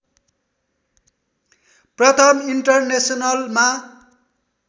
प्रथम इन्टरनेसनलमा